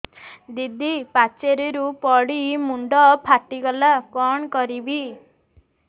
ଦିଦି ପାଚେରୀରୁ ପଡି ମୁଣ୍ଡ ଫାଟିଗଲା କଣ କରିବି